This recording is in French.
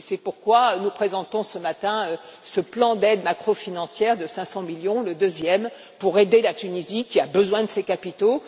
C'est pourquoi nous présentons ce matin ce plan d'aide macro financière de 500 millions le deuxième pour aider la Tunisie, qui a besoin de ces capitaux.